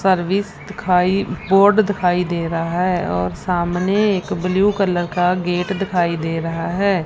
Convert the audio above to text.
Service दिखाई board दिखाई दे रहा है और सामने एक ब्लू कलर का गेट दिखाई दे रहा हैं।